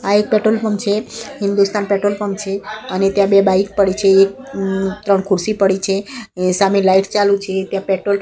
આ એક petrol pump છે હિન્દુસ્તાન પેટ્રોલ પંપ છે અને ત્યાં બે બાઇક પડી છે ત્રણ ખુરસી પડી છે એ સામે લાઇટ ચાલુ છે ત્યા પેટ્રોલ --